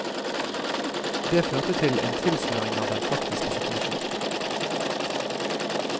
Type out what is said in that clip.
Det førte til en tilsløring av den faktiske situasjon.